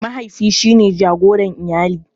Mahaifi shine jagoran iyali.